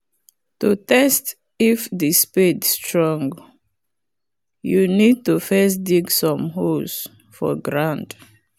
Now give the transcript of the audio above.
to test if the spade strong you need to first dig some holes for ground